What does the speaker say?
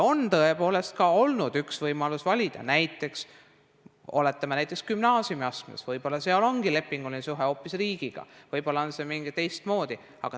On tõepoolest olnud üks võimalus valida, näiteks gümnaasiumiastmes võib-olla ongi lepinguline suhe hoopis riigiga, võib-olla on see teistmoodi.